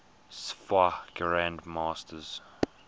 sfwa grand masters